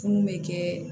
Funu bɛ kɛ